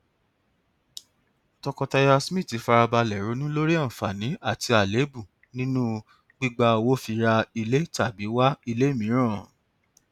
tọkọtaya smith fara balẹ ronú lórí àǹfààní àti àléébù nínú gbígba owó fi ra ilé tàbí wá ilé mìíràn